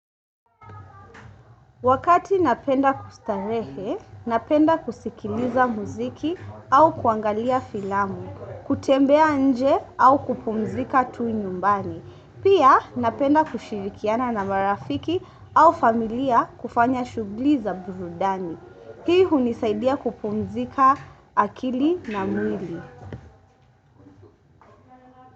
Wakati napenda kustarehe, napenda kusikiliza muziki au kuangalia filamu, kutembea nje au kupumzika tu nyumbani. Pia napenda kushirikiana na marafiki au familia kufanya shughuli za burudani. Hii hunisaidia kupumzika akili na mwili.